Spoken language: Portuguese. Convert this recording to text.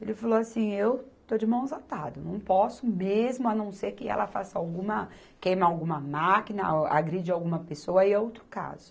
Ele falou assim, eu estou de mãos atado, não posso mesmo a não ser que ela faça alguma, queima alguma máquina, a agride alguma pessoa, aí é outro caso.